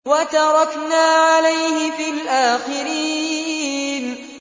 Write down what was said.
وَتَرَكْنَا عَلَيْهِ فِي الْآخِرِينَ